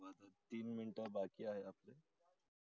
तीन मिनिटं बाकी आहे आपल्या